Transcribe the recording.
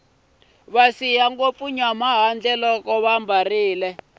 va siya ngopfu nyama loko vambarile